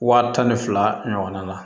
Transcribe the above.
Wa tan ni fila ɲɔgɔnna